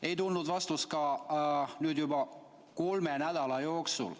Ei ole tulnud vastust ka juba kolme nädala jooksul.